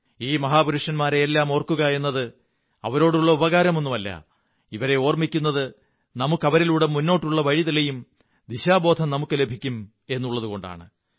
ഈ മഹാപുരുഷന്മാരെയെല്ലാം ഓര്ക്കുാകയെന്നത് അവരോടുള്ള ഉപകാരമൊന്നുമല്ല ഇവരെ ഓര്മ്മി ക്കുന്നത് നമുക്ക് അവരിലൂടെ മുന്നോട്ടുള്ള വഴി തെളിയും ദിശാബോധം നമുക്കു ലഭിക്കും എന്നുള്ളതുകൊണ്ടാണ്